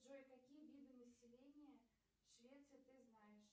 джой какие виды населения швеции ты знаешь